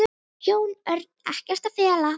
Jón Örn: Ekkert að fela?